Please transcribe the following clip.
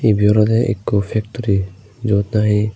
ibey olodey ekko factory jiyot nahi.